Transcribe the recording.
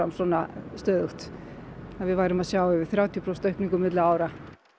svona stöðugt að við værum að sjá yfir þrjátíu prósent aukningu milli ára